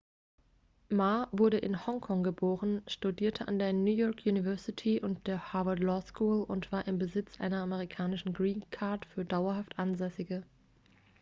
ma wurde in hongkong geboren studierte an der new york university und der harvard law school und war im besitz einer amerikanischen green card für dauerhaft ansässige